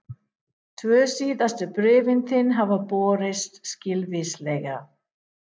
Tvö síðustu bréfin þín hafa borist skilvíslega.